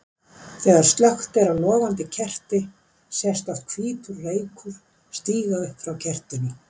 Þegar slökkt er á logandi kerti sést oft hvítur reykur stíga upp frá kertinu.